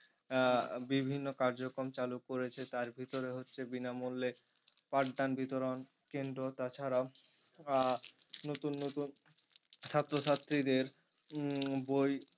আহ বিভিন্ন কার্যক্রম চালু করেছে তার ভিতরে হচ্ছে বিনামূল্যে পাঠদান বিতরণ কেন্দ্র তাছাড়া আহ নতুন নতুন ছাত্র ছাত্রীদের উম বই